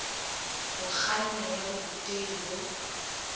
ho kganna ya borutehi bo